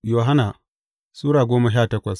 Yohanna Sura goma sha takwas